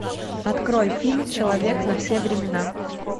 открой фильм человек на все времена